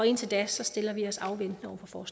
indtil da stiller vi os afventende over for